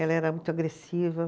Ela era muito agressiva.